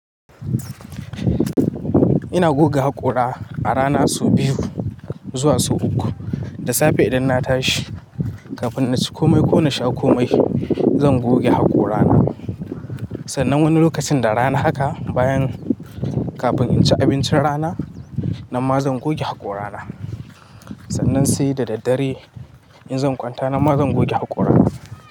Ina goge haƙora a rana sau biyu zuwa sau uku. Da safe idan na tashi kafin na ci komai ko na sha komai zan goge haƙorana. Sannan wani lokacin da rana haka bayan kafin in ci abincin rana nan ma zan goge haƙorana. Sannan sai da daddare in zan kwanta nan ma zan goge haƙorana.